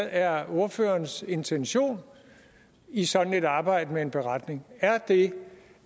er ordførerens intention i sådan et arbejde med en beretning er det